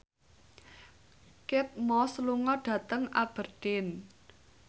Kate Moss lunga dhateng Aberdeen